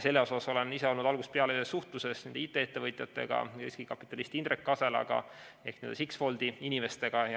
Selles asjas olen ise olnud algusest peale suhtluses nende IT-ettevõtjatega ja riskikapitalist Indrek Kaselaga ehk Sixfoldi inimestega.